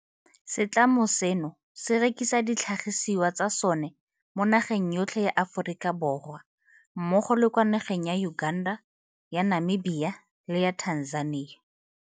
Setlamo seno se rekisa ditlhagisiwa tsa sona mo nageng yotlhe ya Aforika Borwa mmogo le kwa nageng ya Uganda, ya Namibia, le ya Tanzania.